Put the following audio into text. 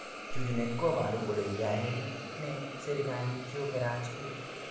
Chuchuchet kobaru kole yaene serikalit yo kerat skul